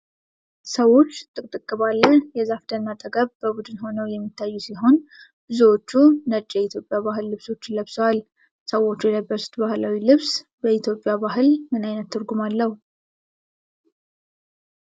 ሰዎች ጥቅጥቅ ባለ የዛፍ ደን አጠገብ በቡድን ሆነው የሚታዩ ሲሆን ብዙዎቹ ነጭ የኢትዮጵያ ባህላዊ ልብሶችን ለብሰዋል። ሰዎቹ የለበሱት ባህላዊ ነጭ ልብስ በኢትዮጵያ ባህል ምን ዓይነት ትርጉም አለው?